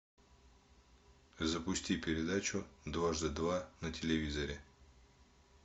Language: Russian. запусти передачу дважды два на телевизоре